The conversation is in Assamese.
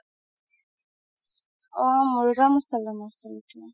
অ মুৰ্গ মাচালাম আছিল সেইটো